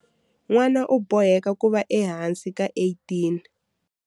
N'wana u boheka ku va ehansi ka 18.